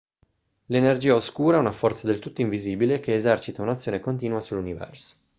l'energia oscura è una forza del tutto invisibile che esercita un'azione continua sull'universo